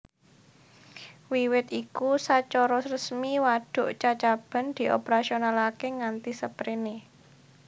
Wiwit iku sacara resmi wadhuk Cacaban dioperasionalakè nganti sapréné